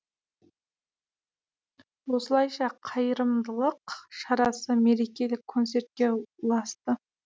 осылайша қайырымдылық шарасы мерекелік концертке ұласты